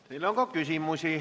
Teile on ka küsimusi.